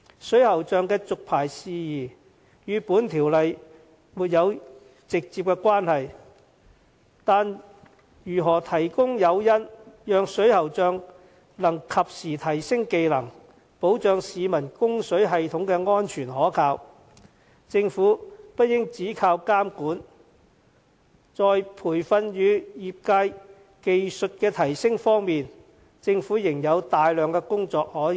水喉匠的續牌事宜與《條例草案》沒有直接關係，但如何提供誘因，讓水喉匠能及時提升技能，保障市民供水系統的安全可靠，政府不應只靠監管，在培訓與業界技術提升方面，政府仍有大量工作可做。